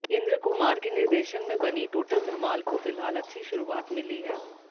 इंद्र कुमार के निर्देशन में बनी टोटल धमाल को फिलहाल अच्छी शुरुआत मिली है